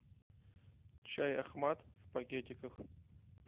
чай ахмад в пакетиках